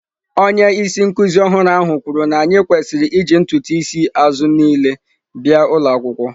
Onye isi nkuzi ọhụrụ ahụ kwuru na anyị kwesịrị iji ntutu isi azụ niile bịa ụlọ akwụkwọ.